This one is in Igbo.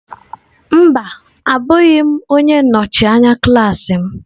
Mba, abụghị m onye nnọchi anya klaasị m.